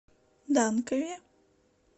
данкове